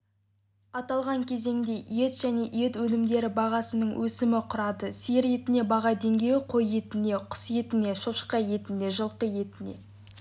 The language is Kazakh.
аталған кезеңде ет және ет өнімдері бағасының өсімі құрады сиыр етіне баға деңгейі қой етіне құс етіне шошқа етіне жылқы етіне